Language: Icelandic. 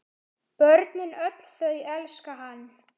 Börnin öll þau elska hann.